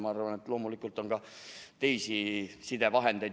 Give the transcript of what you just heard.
Ma arvan, et loomulikult on ka teisi sidevahendeid.